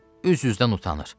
Üz üzdən utanır.